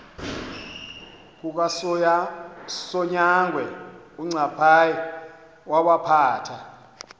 kukasonyangwe uncaphayi wawaphatha